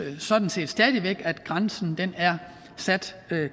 sådan set stadig væk at grænsen er sat